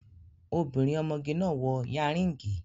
Obìnrin ọmọge náà wọ yanríngì